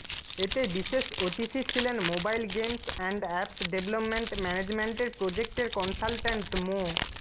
এতে বিশেষ অতিথি ছিলেন mobile games and apps development ম্যানেজমেন্টের প্রজেক্টের কনসালটেন্ট মো